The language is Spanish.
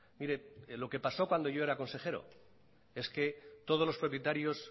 mire lo que pasó cuando yo era consejero es que todos los propietarios